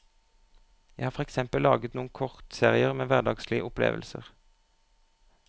Jeg har for eksempel laget noen kortserier med hverdagslige opplevelser.